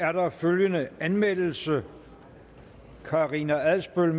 er der følgende anmeldelse karina adsbøl